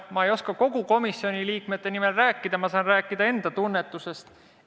Ma ei oska kogu komisjoni liikmete nimel rääkida, ma saan rääkida enda tunnetusest.